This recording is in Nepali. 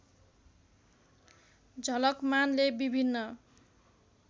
झलकमानले विभिन्न